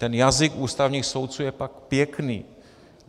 Ten jazyk ústavních soudců je tak pěkný.